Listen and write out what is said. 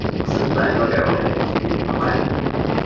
Á sunnudaginn var ég á leið heim af æfingu.